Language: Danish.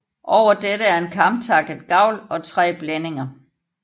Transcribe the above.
Over dette er en kamtakket gavl og tre blændinger